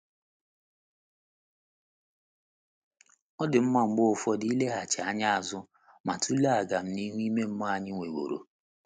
Ọ dị mma mgbe ụfọdụ ileghachi anya azụ ma tụlee ọganihu ime mmụọ anyị nweworo.